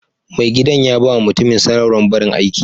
Mai gidan ya ba ma mutumin sanarwar barin aiki.